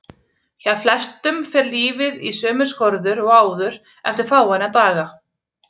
Hjá flestum fer lífið í sömu skorður og áður eftir fáeina daga.